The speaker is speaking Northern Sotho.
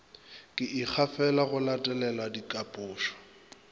ke ikgafela go latelela dihlalošo